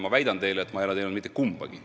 Ma väidan teile, et ma ei ole teinud mitte kumbagi.